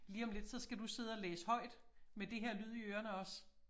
Lige om lidt så skal du sidde og læse højt med det her lyd i ørerne også